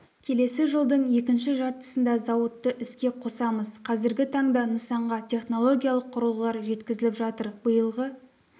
келесі жылдың екінші жартысында зауытты іске қосамыз қазіргі таңда нысанға технологиялық құрылғылар жеткізіліп жатыр биылғы